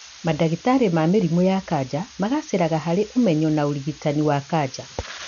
Mandagĩtarĩ ma mĩrimũ ya kanca magacĩraga harĩ ũmenyo na ũrigitani wa kanca